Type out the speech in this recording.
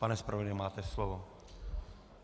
Pane zpravodaji, máte slovo.